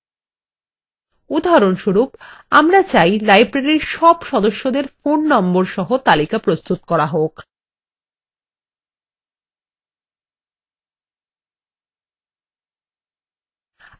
উদাহরণস্বরূপ আমরা চাই library সব সদস্যদের phone নম্বর সহ তালিকা প্রস্তুত করা হোক